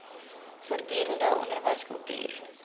voortdurend onderwys kultuur